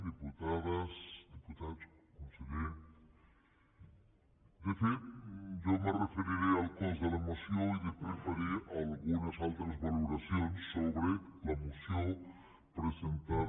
diputades diputats conseller de fet jo me referiré al cos de la moció i després faré algunes altres valoracions sobre la moció presentada